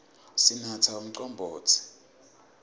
sinatsa umcombotsi